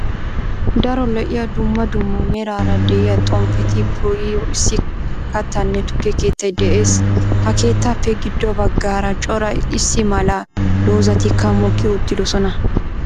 Daro lo7iya duummaa duummaa meraara de7iya xomppeti po7iyo issi kattaanne tukke keettay de7ees. Ha keettappe giddo baggara cora issi malaa doozatikka mooki uttidosona.